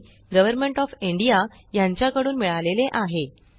D government of India कडून मिळालेले आहे